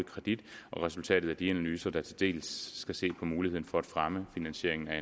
resultatet af de analyser der til dels skal se på muligheden for at fremme finansieringen af